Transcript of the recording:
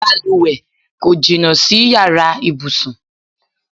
Balùwẹ̀ kò jìnnà sí yàrá ibùsùn.